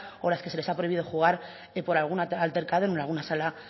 o las que se les ha prohibido jugar por algún altercado en alguna sala